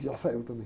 Já saiu também.